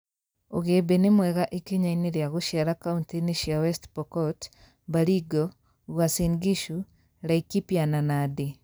Ũgĩmbĩ nĩ mwega ikinya-inĩ rĩa gũciara kauntĩ-ini cia West Pokot, Baringo, Uasin Gishu, Laikipia na Nandi